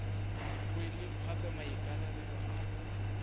rwele gape maikarabelo a go